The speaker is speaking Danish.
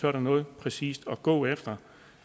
er der noget præcist at gå efter